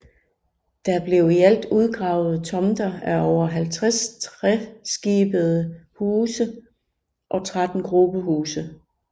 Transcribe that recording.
Der blev i alt udgravet tomter af over 50 treskibede huse og 13 grubehuse